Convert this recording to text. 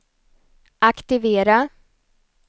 aktivera